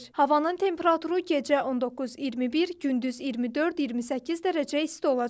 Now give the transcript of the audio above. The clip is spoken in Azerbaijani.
Havanın temperaturu gecə 19-21, gündüz 24-28 dərəcə isti olacaq.